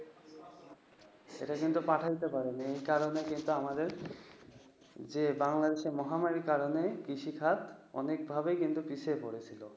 এটা আমাদের কাছে পাঠাতে পারেনি, এই কারণেই আমাদের যে, বাংলাদেশে মহামারীর কারণে কৃষি খাত অনেকভাবে কিন্তু পিছিয়ে পড়েছিল।